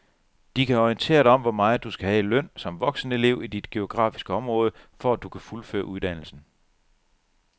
De kan orientere dig om hvor meget du skal have i løn som voksenelev i dit geografiske område, for at du kan fuldføre uddannelsen.